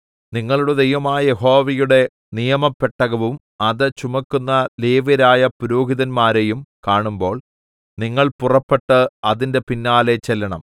നിങ്ങളുടെ ദൈവമായ യഹോവയുടെ നിയമപെട്ടകവും അത് ചുമക്കുന്ന ലേവ്യരായ പുരോഹിതന്മാരെയും കാണുമ്പോൾ നിങ്ങൾ പുറപ്പെട്ട് അതിന്റെ പിന്നാലെ ചെല്ലേണം